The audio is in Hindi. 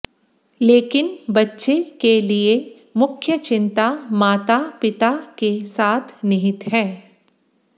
लेकिन बच्चे के लिए मुख्य चिंता माता पिता के साथ निहित है